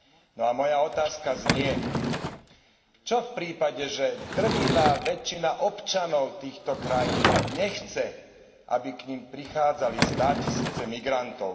No, a moja otázka znie Čo v prípade, že drvivá väčšina občanov týchto krajín nechce, aby k nim prichádzali státisíce migrantov?